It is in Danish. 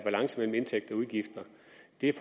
et